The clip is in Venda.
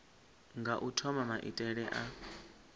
nga u thoma maitele a